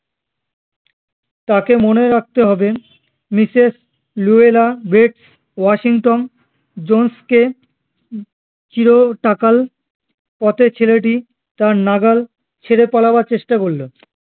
তাকে মনে রাখতে হবে Mrs Luella Bates Washington Jones কে হম চিরটাকাল পথের ছেলেটি তার নাগাল ছেড়ে পালাবার চেষ্টা করলো